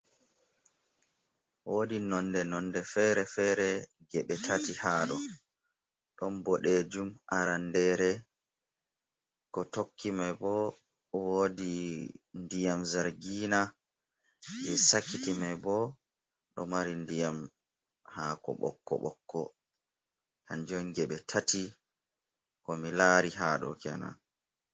Wodi nonde nonde fere-fere geɓe tati haɗo. Ɗon boɗejum arandere ko tokki mai bo wodi ndiyam zargina, je sakiti mai bo ɗo mari ndiyam hako ɓokko - ɓokko. Kanjum geɓe tati. Ko mi lari hado kenan.